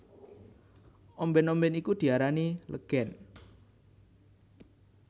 Ombèn ombèn iku diarani legèn